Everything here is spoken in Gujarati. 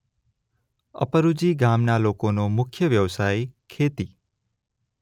અપરુજી ગામના લોકોનો મુખ્ય વ્યવસાય ખેતી